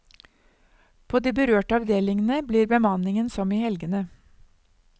På de berørte avdelingene blir bemanningen som i helgene.